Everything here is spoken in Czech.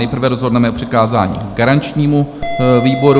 Nejprve rozhodneme o přikázání garančnímu výboru.